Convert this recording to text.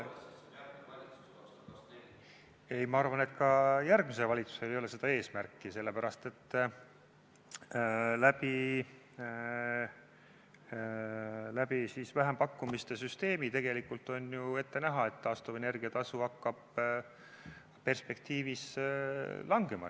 Ei, ma arvan, et ka järgmisel valitsusel ei ole seda eesmärki, sest vähempakkumiste süsteemi tõttu on ju tegelikult ette näha, et taastuvenergia tasu hakkab perspektiivis langema.